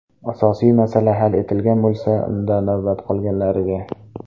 Asosiy masala hal etilgan bo‘lsa, unda navbat qolganlariga.